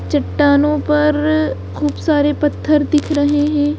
चट्टानों पर खूब सारे पत्थर दिख रहे हैं।